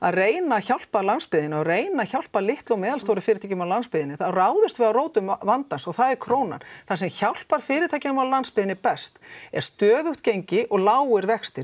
reyna að hjálpa landsbyggðinni og reyna að hjálpa litlum og meðalstórum fyrirtækjum á landsbyggðinni þá ráðumst við að rótum vandans og það er krónan það sem hjálpar fyrirtækjum á landsbyggðinni best er stöðugt gengi og lágir vextir